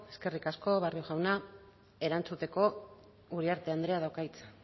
eskerrik asko barrio jauna erantzuteko uriarte andreak dauka hitza